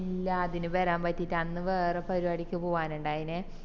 ഇല്ല അതിന് വരാൻ പറ്റിറ്റില അന്ന് വേറെ പരിപാടിക്ക് പോവാനിണ്ടായിനെ